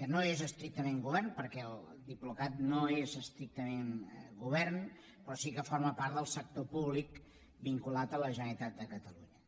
que no és estrictament govern perquè el diplocat no és estrictament govern però sí que forma part del sector públic vinculat a la generalitat de catalunya